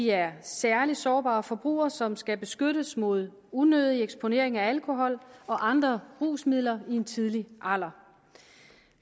er særlig sårbare forbrugere som skal beskyttes mod unødig eksponering af alkohol og andre rusmidler i en tidlig alder